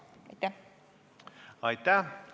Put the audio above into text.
Aitäh!